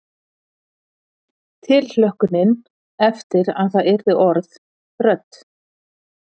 Tilhlökkunin eftir að það yrðu orð, rödd.